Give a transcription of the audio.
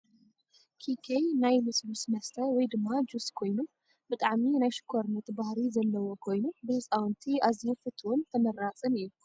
ኪኬ ናይ ልሱሉስ መስተ ወይ ድማ ጁስ ኮይኑ ብጣዕሚ ናይ ሽኮርነት ባህሪ ዘለዎ ኮይኑ ብህፃውንቲ ኣዝዩ ፍትውን ተመራፅን እዩ ።